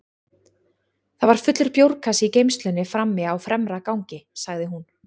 Það var fullur bjórkassi í geymslunni frammi á fremra gangi, sagði hún.